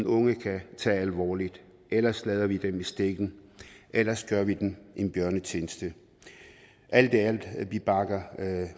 unge kan tage alvorligt ellers lader vi dem i stikken ellers gør vi dem en bjørnetjeneste alt i alt vi bakker